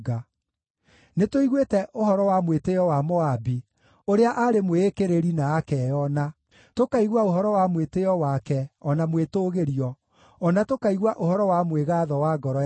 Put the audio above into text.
“Nĩtũiguĩte ũhoro wa mwĩtĩĩo wa Moabi, ũrĩa aarĩ mwĩĩkĩrĩri na akeyona, tũkaigua ũhoro wa mwĩtĩĩo wake o na mwĩtũũgĩrio, o na tũkaigua ũhoro wa mwĩgaatho wa ngoro yake.